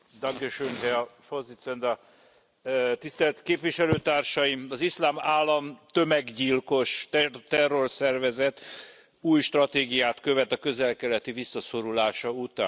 Elnök úr, tisztelt Képviselőtársaim! Az Iszlám Állam tömeggyilkos terrorszervezet új stratégiát követ a közel keleti visszaszorulása után.